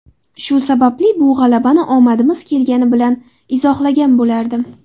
Shu sababli bu g‘alabani omadimiz kelgani bilan izohlagan bo‘lardim.